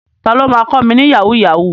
Ta ló ma kọ́ mi ní Yahoo yahoo?